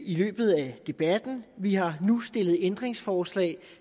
i løbet af debatten vi har nu stillet ændringsforslag